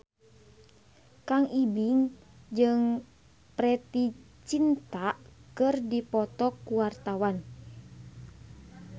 Kang Ibing jeung Preity Zinta keur dipoto ku wartawan